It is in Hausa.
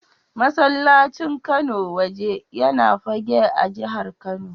Masallacin Kano Waje yana Fagge a jihar Kano.